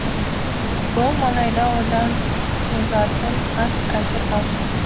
бұл маңайда одан озатын ат әзір аз